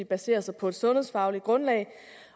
basere sig på et sundhedsfagligt grundlag